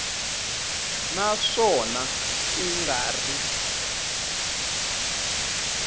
na swona ku nga ri